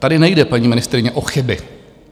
Tady nejde, paní ministryně, o chyby.